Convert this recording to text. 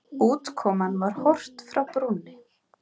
Útkoman var Horft frá brúnni.